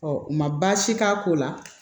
ma baasi k'a ko la